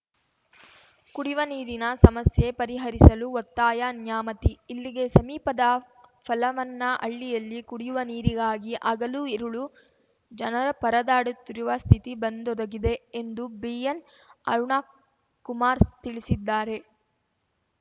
ಕುಡಿವ ನೀರಿನ ಸಮಸ್ಯೆ ಪರಿಹರಿಸಲು ಒತ್ತಾಯ ನ್ಯಾಮತಿ ಇಲ್ಲಿಗೆ ಸಮೀಪದ ಫಲವನ್ನಹಳ್ಳಿಯಲ್ಲಿ ಕುಡಿಯುವ ನೀರಿಗಾಗಿ ಹಗಲು ಇರಳು ಜನರುಪರದಾಡುವ ಸ್ಥಿತಿ ಬಂದೊದಗಿದೆ ಎಂದು ಬಿಎನ್‌ ಅರುಣಕುಮಾರ್‌ ಸ್ ತಿಳಿಸಿದ್ದಾರೆ